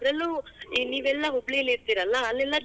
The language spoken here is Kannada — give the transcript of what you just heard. ಅದರಲ್ಲೂ ಈ ನೀವೆಲ್ಲಾ ಹುಬ್ಳೀಲಿ ಇರತಿರಲ್ಲಾ ಅಲ್ಲೇಲ್ಲಾ.